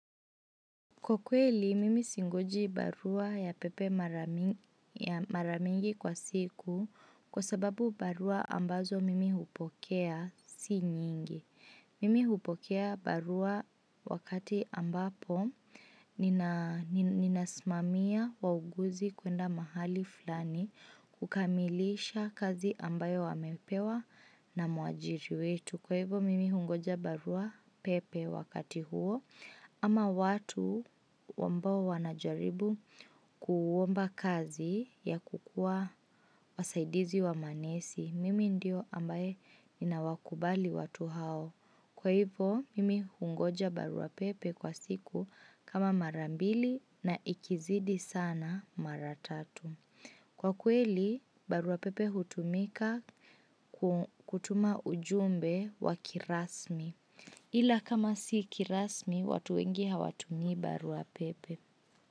Kwa kweli, mimi singoji barua ya pepe mara mingi kwa siku kwa sababu barua ambazo mimi hupokea si nyingi. Mimi hupokea barua wakati ambapo ninasimamia wauguzi kwenda mahali fulani kukamilisha kazi ambayo wamepewa na muajiri wetu. Kwa hivyo mimi hungoja barua pepe wakati huo ama watu ambao wanajaribu kuomba kazi ya kukua wasaidizi wa manesi mimi ndiyo ambaye nina wakubali watu hao. Kwa hivyo mimi hungoja barua pepe kwa siku kama marambili na ikizidi sana maratatu. Kwa kweli, baruapepe hutumika kutuma ujumbe wa kirasmi. Ila kama si kirasmi, watu wengi hawatumi baruapepe.